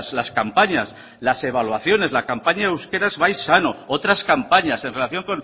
las campañas las evaluaciones la campaña de euskaraz bai sano otras campañas en relación